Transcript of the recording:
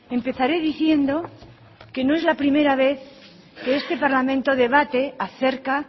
empezaré diciendo que no es la primera vez que este parlamento debate acerca